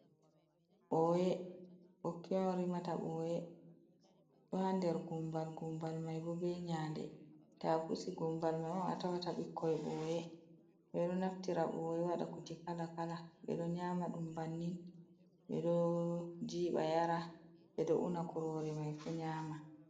Ɓoye, ɓokki on rimata ɓoye, ɗo ha nder gumbal, gumbal mai bo be nyanɗe, tabusi gumbal mai on, a tawata ɓikkoi ɓoye. Ɓeɗo naftira ɓoye wada kuje kala, kala, be ɗo nyama ɗum bannin, ɓeɗo jiba yara, ɓeɗo una kurore mai fu nyama.